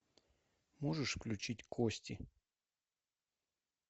можешь включить кости